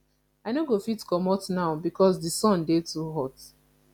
i no go fit comot now because di sun dey too much